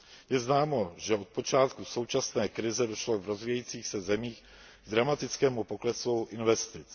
Je známo, že od počátku současné krize došlo v rozvíjejících se zemích k dramatickému poklesu investic.